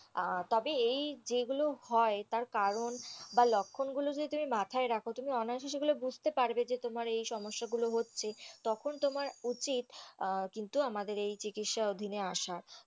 তবে এই যেই গুলো হয় তার কারণ বা লক্ষণ গুলো যদি তুমি মাথায় রাখো তাহলে তুমি অনায়াসে সেগুলো বুজতে পারবে যে তোমার এই সমস্যা গুলো হচ্ছে তখন তোমার উচিৎ কিন্তু আমাদের এই চিকিৎসা অধীনে আসা,